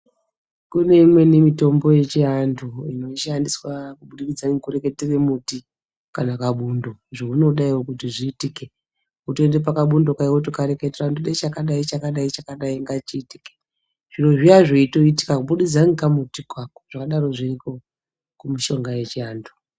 Kune imweni mitombo yechiantu inoshandiswa kuburikidza ngekureketere muti kana kabundo zvaunoda iwewe kuti zviitike wotoenda pakabundo kaya wotokareketera kuti ndoda chakadai chakadai chakadai ngachiitike zviro zviya zveitoitika kubudikidza ngekamutiko ako zvakadaro zviriko kumishonga yechiantu.